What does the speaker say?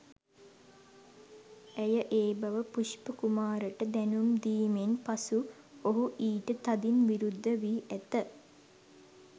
ඇය ඒ බව පුෂ්පකුමාරට දැනුම් දීමෙන් පසු ඔහු ඊට තදින් විරුද්ධ වී ඇත.